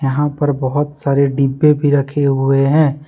यहां पर बहुत सारे डिब्बे भी रखे हुए हैं।